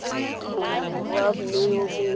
borwa mme yo mongwe wa